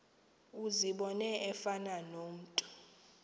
uzibone efana nomntu